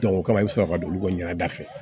o kama i bɛ sɔrɔ ka don olu ka ɲɛda fɛ